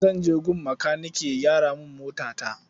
Zan je gun makanike ya gyara min motata.